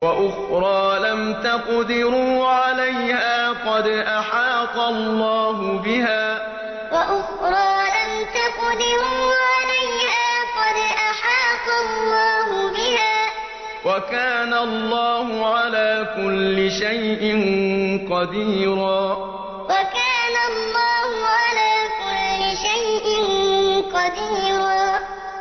وَأُخْرَىٰ لَمْ تَقْدِرُوا عَلَيْهَا قَدْ أَحَاطَ اللَّهُ بِهَا ۚ وَكَانَ اللَّهُ عَلَىٰ كُلِّ شَيْءٍ قَدِيرًا وَأُخْرَىٰ لَمْ تَقْدِرُوا عَلَيْهَا قَدْ أَحَاطَ اللَّهُ بِهَا ۚ وَكَانَ اللَّهُ عَلَىٰ كُلِّ شَيْءٍ قَدِيرًا